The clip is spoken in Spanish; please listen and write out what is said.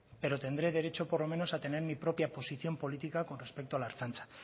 pero tendré derecho por lo menos a tener mi propia posición política con respecto a la ertzaintza